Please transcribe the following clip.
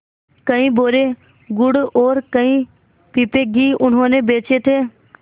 कई बोरे गुड़ और कई पीपे घी उन्होंने बेचे थे